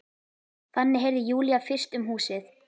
Þannig heyrði Júlía fyrst um húsið.